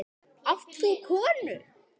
Átt þú konu?